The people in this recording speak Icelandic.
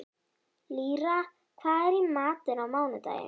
Lýra, hvað er í matinn á mánudaginn?